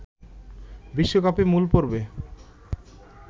বিশ্বকাপের মূল পর্বে